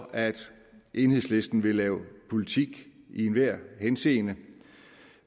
at enhedslisten vil lave politik i enhver henseende